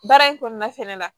Baara in kɔnɔna fɛnɛ la